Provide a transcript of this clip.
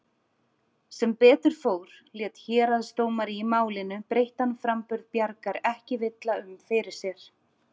Sem betur fór lét héraðsdómari í Málinu breyttan framburð Bjargar ekki villa um fyrir sér.